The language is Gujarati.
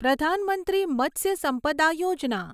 પ્રધાન મંત્રી મત્સ્ય સંપદા યોજના